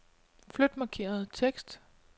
Flyt markerede tekst.